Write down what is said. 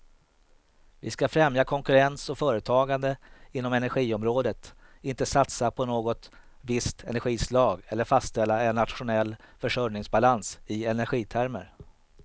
Vi ska främja konkurrens och företagande inom energiområdet, inte satsa på något visst energislag eller fastställa en nationell försörjningsbalans i energitermer.